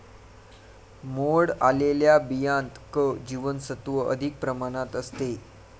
मोड आलेल्या बियांत क जीवनसत्त्व अधिक प्रमाणात असते.